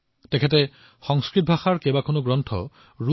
তেওঁ সংস্কৃতৰ পৰা ৰুচিলৈ বহুতো কিতাপ অনুবাদ কৰিছে